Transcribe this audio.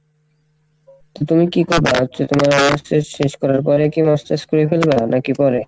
কী তুমি কী তোমার honors শেষ শেষ করার পরে কী masters করে ফেলবা নাকি পরে?